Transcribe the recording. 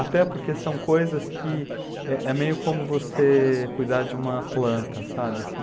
Até porque são coisas que é é meio como você cuidar de uma planta, sabe, assim?